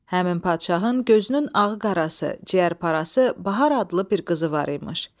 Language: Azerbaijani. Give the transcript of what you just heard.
Həmin padşahın gözünün ağı-qarası, ciyərparası Bahar adlı bir qızı var imiş.